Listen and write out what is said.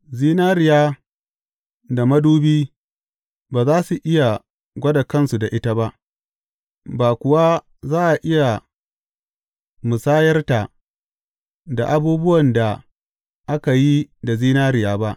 Zinariya da madubi ba za su iya gwada kansu da ita ba, ba kuwa za a iya musayarta da abubuwan da aka yi da zinariya ba.